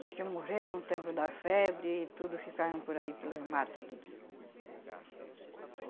Os que morreram, no tempo da febre, tudo ficaram por aí pelos mato, tudo.